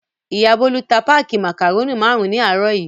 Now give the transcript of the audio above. Ìyá Bólú ta páákì màkàrónì márùn-ún ní àárọ̀ yìí.